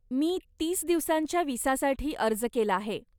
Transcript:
मी तीस दिवसांच्या विसासाठी अर्ज केला आहे.